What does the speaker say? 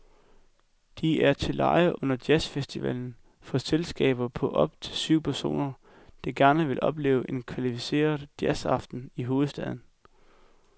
De er til leje under jazzfestivalen for selskaber på op til syv personer, der gerne vil opleve en kvalificeret jazzaften i hovedstaden.